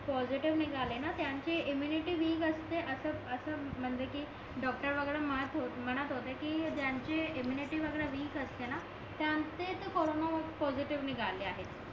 positive निघाले ना immunity weak असते असं असं म्हणजे कि डॉक्टर वगैरे म्हणत होते कि ज्यांची इम्मुनिटी वीक असते ना त्यांचे तर कॉरोन पॉसिटीव्ह निघाले आहे